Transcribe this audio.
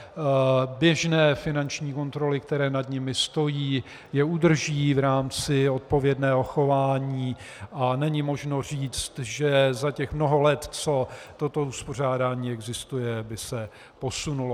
Běžné finanční kontroly, které nad nimi stojí, je udrží v rámci odpovědného chování a není možno říct, že za těch mnoho let, co toto uspořádání existuje, by se posunulo.